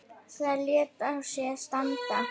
Það lét á sér standa.